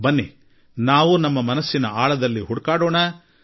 ಬನ್ನಿ ನಾವು ಕೂಡಾ ನಮ್ಮ ಮನಸ್ಸನ್ನು ಪ್ರಶ್ನಿಸಿಕೊಳ್ಳೋಣ